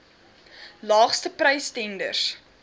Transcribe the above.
laagste prys tenders